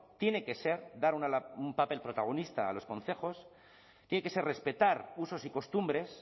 tiene que ser dar un papel protagonista a los concejos tiene que ser respetar usos y costumbres